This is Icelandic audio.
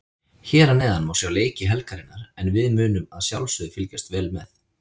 Hér að neðan má sjá leiki helgarinnar en við munum að sjálfsögðu fylgjast vel með.